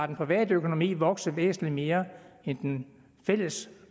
den private økonomi vokse væsentligt mere end den fælles